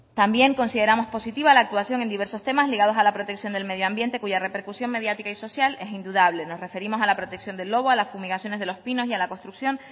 también consideramos positiva la actuación en diversos temas ligados a la protección del medio ambiente cuya repercusión mediática y social es indudable nos referimos a la protección del lobo a las fumigaciones de los pinos y a la construcción